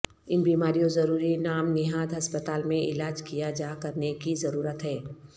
ان بیماریوں ضروری نام نہاد ہسپتال میں علاج کیا جا کرنے کی ضرورت ہے